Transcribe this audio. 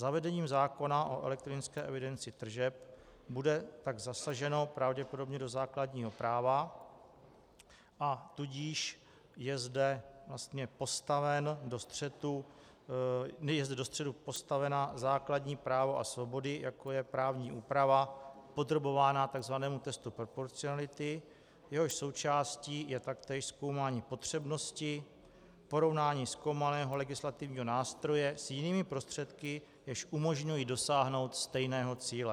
Zavedením zákona o elektronické evidenci tržeb bude tak zasaženo pravděpodobně do základního práva, a tudíž je zde vlastně postaven do střetu - je zde do střetu postavena - základní právo a svobody, jako je právní úprava, podrobována takzvanému testu proporcionality, jehož součástí je taktéž zkoumání potřebnosti, porovnání zkoumaného legislativního nástroje s jinými prostředky, jež umožňují dosáhnout stejného cíle.